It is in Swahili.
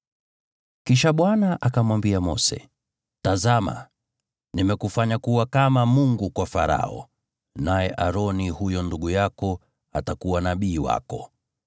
Kisha Bwana akamwambia Mose, “Tazama, nimekufanya kuwa kama Mungu kwa Farao, naye Aroni, huyo ndugu yako, atakuwa nabii wako.